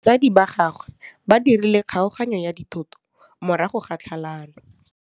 Batsadi ba gagwe ba dirile kgaoganyô ya dithoto morago ga tlhalanô.